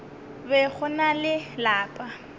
be go na le lapa